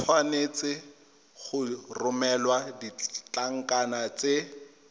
tshwanetse go romela ditlankana tse